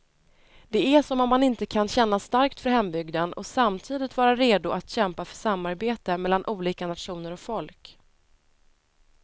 Det är som om man inte kan känna starkt för hembygden och samtidigt vara redo att kämpa för samarbete mellan olika nationer och folk.